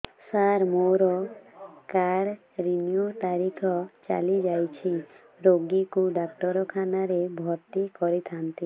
ସାର ମୋର card renew ତାରିଖ ଚାଲି ଯାଇଛି ରୋଗୀକୁ ଡାକ୍ତରଖାନା ରେ ଭର୍ତି କରିଥାନ୍ତି